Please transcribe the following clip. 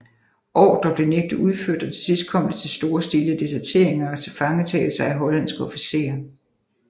Ordrer blev nægtet udført og til sidst kom det til storstilede deserteringer og tilfangetagelser af hollandske officerer